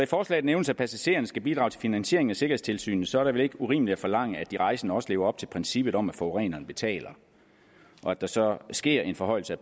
forslaget nævnes at passagererne skal bidrage til finansieringen af sikkerhedstilsynet så er det vel ikke urimeligt at forlange at de rejsende også lever op til princippet om at forureneren betaler og at der så sker en forhøjelse af